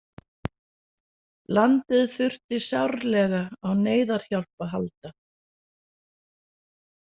Landið þurfti sárlega á neyðarhjálp að halda.